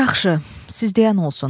Yaxşı, siz deyən olsun.